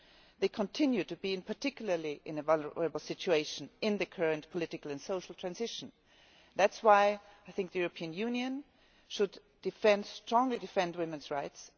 They continue to be in a particularly vulnerable situation in the current political and social transition. That is why I think the European Union should strongly defend women's rights.